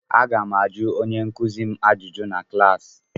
Aga m ajụ onye nkuzi m ajụjụ na klaasị.